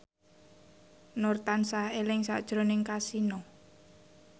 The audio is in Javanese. Nur tansah eling sakjroning Kasino